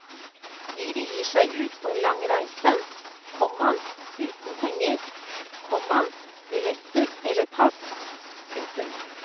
De begir seg ut på en lang reise, komma uten penger, komma billetter eller pass. punktum